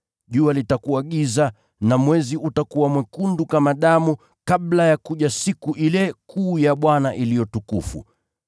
Jua litakuwa giza na mwezi utakuwa mwekundu kama damu, kabla ya kuja siku ile kuu ya Bwana iliyo tukufu.